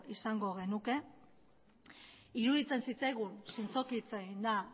izango genuke iruditzen zitzaigun zintzoki hitz eginda